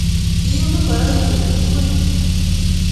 Kiyum ngoroik nguk tugul